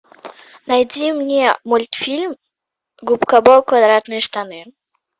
найди мне мультфильм губка боб квадратные штаны